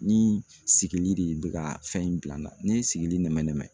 Ni sigili de bɛ ka fɛn in bila, ne ye sigili nɛmɛ nɛmɛ.